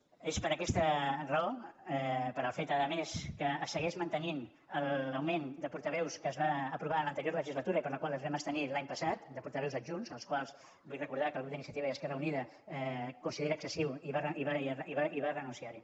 és per aquesta raó pel fet a més que es segueix mantenint l’augment de portaveus que es va aprovar en l’anterior legislatura i per la qual ens vam abstenir l’any passat de portaveus adjunts els quals vull recordar que el grup d’iniciativa i esquerra unida considera excessiu i va renunciar hi